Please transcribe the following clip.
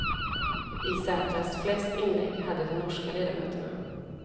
I särklass flest inlägg hade de norska ledamöterna.